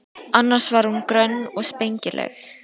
Annars var hún grönn og spengileg.